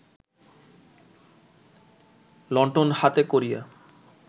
লণ্ঠন হাতে করিয়া